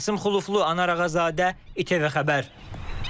Qasım Xuloflu, Anar Ağazadə, İTV Xəbər.